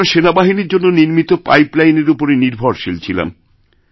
আমরাসেনাবাহিনীর জন্য নির্মিত পাইপ লাইনের উপরে নির্ভরশীল ছিলাম